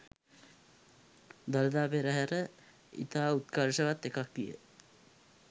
දළදා පෙරහර ඉතා උත්කර්ෂවත් එකක් විය.